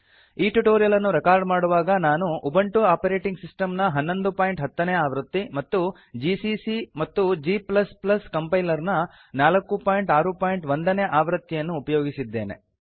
ಈ ಟ್ಯುಟೋರಿಯಲ್ ಅನ್ನು ರೆಕಾರ್ಡ್ ಮಾಡುವಾಗ ನಾನು ಉಬುಂಟು ಆಪರೇಟಿಂಗ್ ಸಿಸ್ಟಮ್ ನ 1110 ನೇ ಆವೃತ್ತಿ ಮತ್ತು ಜಿಸಿಸಿ ಮತ್ತು g ಕಂಪೈಲರ್ ನ 461 ನೇ ಆವೃತ್ತಿಯನ್ನು ಅನ್ನು ಉಪಯೋಗಿಸಿದ್ದೇನೆ